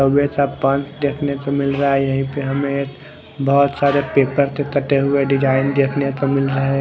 पान देखने को मिल रहा है यही पे हमे एक बहोत सारे पेपर के कटे हुए डिजाईन देखने को मिल रहे है।